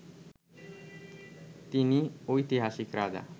তিনি ঐতিহাসিক রাজা